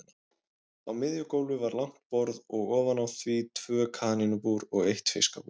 Á miðju gólfi var langt borð og ofan á því tvö kanínubúr og eitt fiskabúr.